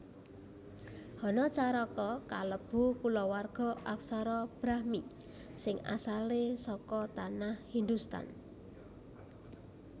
Hanacaraka kalebu kulawarga aksara Brahmi sing asalé saka Tanah Hindhustan